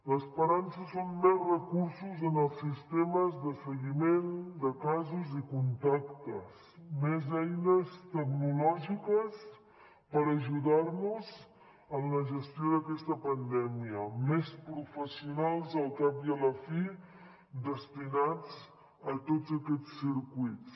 l’esperança són més recursos en els sistemes de seguiment de casos i contactes més eines tecnològiques per ajudar nos en la gestió d’aquesta pandèmia més professionals al cap i a la fi destinats a tots aquests circuits